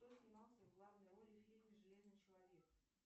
кто снимался в главной роли в фильме железный человек